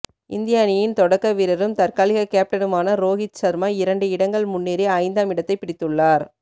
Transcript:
இந்திய அணியின் தொடக்க வீரரும் தற்காலிக கேப்டனுமான ரோஹித் ஷர்மா இரண்டு இடங்கள் முன்னேறி ஐந்தாம் இடத்தைப் பிடித்துள்ளார்